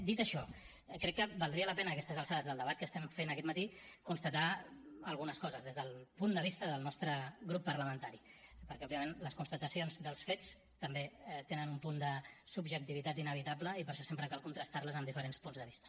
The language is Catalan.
dit això crec quer valdria la pena a aquestes alçades del debat que estem fent aquest matí constatar algunes coses des del punt de vista del nostre grup parlamentari perquè òbviament les constatacions dels fets també tenen un punt de subjectivitat inevitable i per això sempre cal contrastar les amb diferents punts de vista